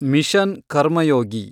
mission Karmayogi